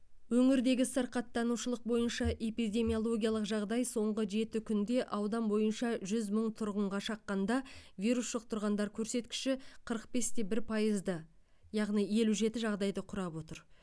өңірдегі сырқаттанушылық бойынша эпидемиологиялық жағдай соңғы жеті күнде аудан бойынша жүз мың тұрғынға шаққанда вирус жұқтырғандар көрсеткіші қырық бесте бір пайызды яғни елу жеті жағдайды құрап отыр